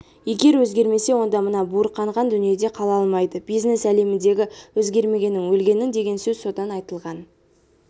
егер өзгермесе онда мына буырқанған дүниеде қала алмайды бизнес әлеміндегі өзгермегенің өлгенің деген сөз содан айтылған